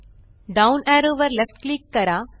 down arrow वर left click करा